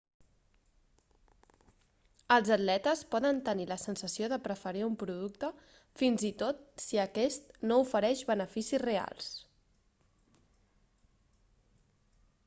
els atletes poden tenir la sensació de preferir un producte fins i tot si aquest no ofereix beneficis reals